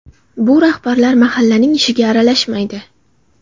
Bu rahbarlar mahallaning ishiga aralashmaydi.